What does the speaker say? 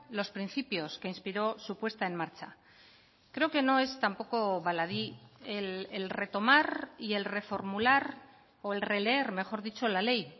los principios que inspiró su puesta en marcha creo que no es tampoco baladí el retomar y el reformular o el releer mejor dicho la ley